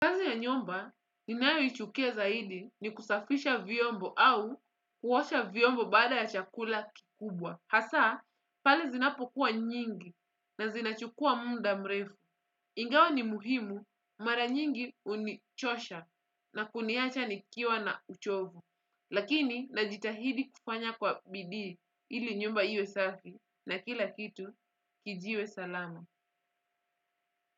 Ya nyumba, ninayoichukia zaidi ni kusafisha vyombo au kuosha viombo baada ya chakula kikubwa. Hasa, pale zinapokuwa nyingi na zinachukua muda mrefu. Ingawa ni muhimu, mara nyingi hunichosha na kuniacha nikiwa na uchovu. Lakini, najitahidi kufanya kwa bidii ili nyumbba iwe safi. Na kila kitu, kiwe salama.